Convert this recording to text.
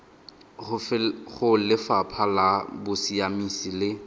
go lefapha la bosiamisi le